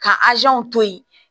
Ka to yen